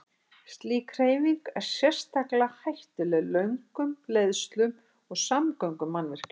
Slík hreyfing er sérstaklega hættuleg lögnum, leiðslum og samgöngumannvirkjum.